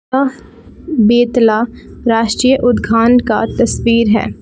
यह बेतला राष्ट्रीय उद्घान का तस्वीर है।